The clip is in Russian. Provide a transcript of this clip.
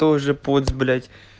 тоже поц блять